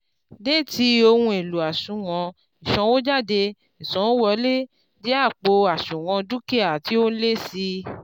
déétì ohun èlò àṣùwọ̀n ìsànwójáde ìsanwówọlé jẹ́ àpò àṣùwọ̀n dúkìá tí ó lé sí